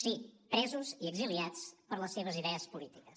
sí presos i exiliats per les seves idees polítiques